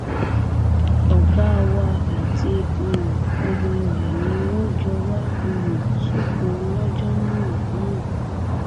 ọgá wa àti um ọmọ rẹ ni wọn jọ wá um sóko lọjọ náà náà